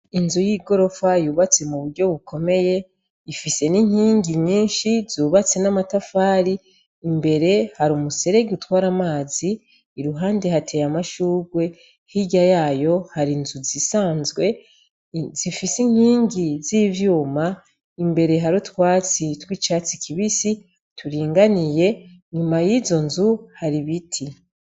Inzu y'igorofa yubatse mu buryo bukomeye ifise n'inkingi nyinshi zubatse n'amatafari imbere hari umuserege utwara amazi i ruhande hateye amashurwe hirya yayo hari inzu zisanzwe zifise inkingi z'ivyuma imbere hari utwasitwi cati kibisi turinganiye nyuma y'izo nzu hari biti.